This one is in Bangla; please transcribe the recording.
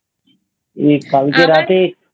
কালকে রাতে